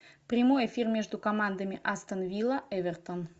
прямой эфир между командами астон вилла эвертон